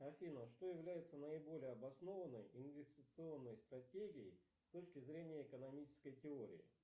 афина что является наиболее обоснованной инвестиционной стратегией с точки зрения экономической теории